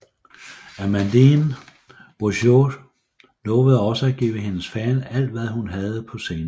Amandine Bourgeois lovede også at give hendes fans alt hvad hun havde på scenen